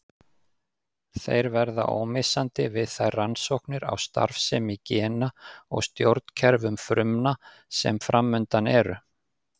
Þeir verða ómissandi við þær rannsóknir á starfsemi gena og stjórnkerfum frumna sem framundan eru.